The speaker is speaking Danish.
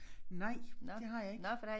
Nej det har jeg ikke